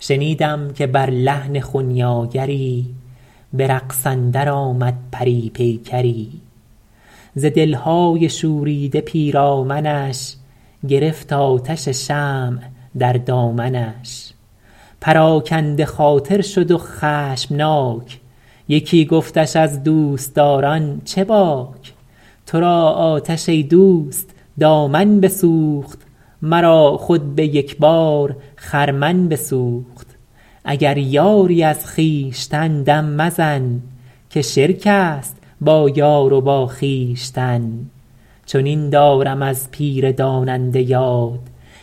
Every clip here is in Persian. شنیدم که بر لحن خنیاگری به رقص اندر آمد پری پیکری ز دلهای شوریده پیرامنش گرفت آتش شمع در دامنش پراکنده خاطر شد و خشمناک یکی گفتش از دوستداران چه باک تو را آتش ای دوست دامن بسوخت مرا خود به یک بار خرمن بسوخت اگر یاری از خویشتن دم مزن که شرک است با یار و با خویشتن چنین دارم از پیر داننده یاد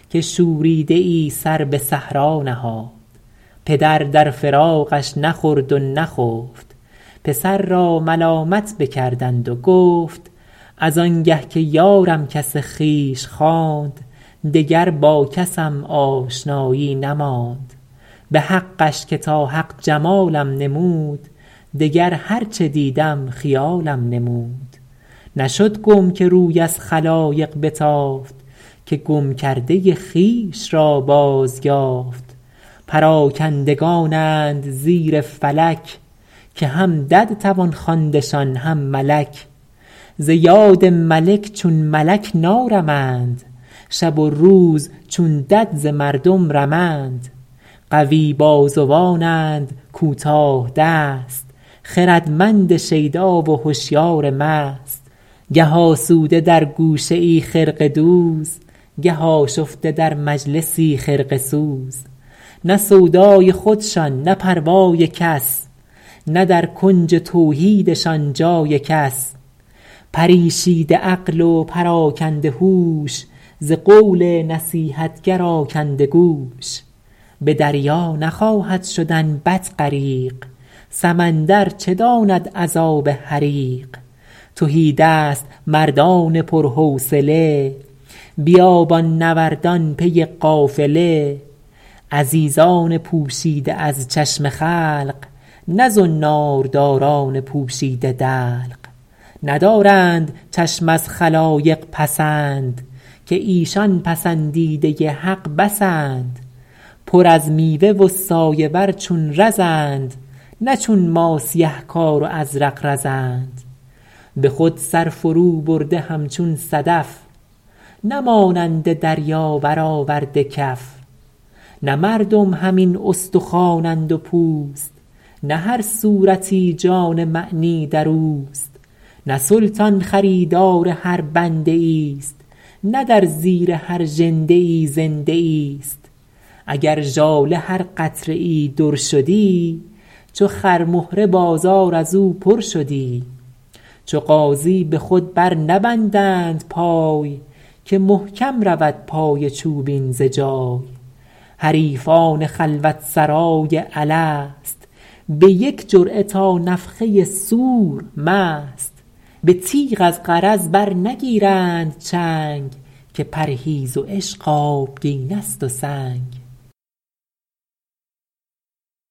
که شوریده ای سر به صحرا نهاد پدر در فراقش نخورد و نخفت پسر را ملامت بکردند و گفت از انگه که یارم کس خویش خواند دگر با کسم آشنایی نماند به حقش که تا حق جمالم نمود دگر هر چه دیدم خیالم نمود نشد گم که روی از خلایق بتافت که گم کرده خویش را باز یافت پراکندگانند زیر فلک که هم دد توان خواندشان هم ملک ز یاد ملک چون ملک نارمند شب و روز چون دد ز مردم رمند قوی بازوانند کوتاه دست خردمند شیدا و هشیار مست گه آسوده در گوشه ای خرقه دوز گه آشفته در مجلسی خرقه سوز نه سودای خودشان نه پروای کس نه در کنج توحیدشان جای کس پریشیده عقل و پراکنده هوش ز قول نصیحتگر آکنده گوش به دریا نخواهد شدن بط غریق سمندر چه داند عذاب حریق تهیدست مردان پر حوصله بیابان نوردان پی قافله عزیزان پوشیده از چشم خلق نه زنار داران پوشیده دلق ندارند چشم از خلایق پسند که ایشان پسندیده حق بسند پر از میوه و سایه ور چون رزند نه چون ما سیه کار و ازرق بزند به خود سر فرو برده همچون صدف نه مانند دریا بر آورده کف نه مردم همین استخوانند و پوست نه هر صورتی جان معنی در اوست نه سلطان خریدار هر بنده ای است نه در زیر هر ژنده ای زنده ای است اگر ژاله هر قطره ای در شدی چو خرمهره بازار از او پر شدی چو غازی به خود بر نبندند پای که محکم رود پای چوبین ز جای حریفان خلوت سرای الست به یک جرعه تا نفخه صور مست به تیغ از غرض بر نگیرند چنگ که پرهیز و عشق آبگینه ست و سنگ